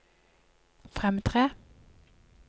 fremtre